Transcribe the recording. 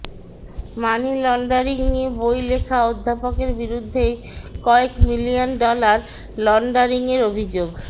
মানি laundering নিয়ে বই লেখা অধ্যাপকের বিরুদ্ধেই কয়েক মিলিয়ন ডলার লন্ডারিংয়ের অভিযোগ